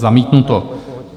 Zamítnuto.